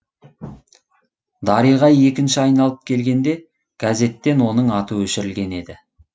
дариға екінші айналып келгенде газеттен оның аты өшірілген еді